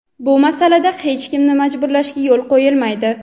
Bu masalada hech kimni majburlashga yo‘l qo‘yilmaydi.